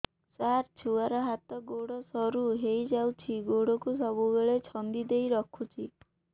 ସାର ଛୁଆର ହାତ ଗୋଡ ସରୁ ହେଇ ଯାଉଛି ଗୋଡ କୁ ସବୁବେଳେ ଛନ୍ଦିଦେଇ ରଖୁଛି